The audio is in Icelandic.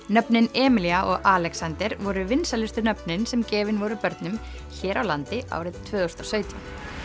nöfnin Emilía og Alexander voru vinsælustu nöfnin sem gefin voru börnum hér á landi árið tvö þúsund og sautján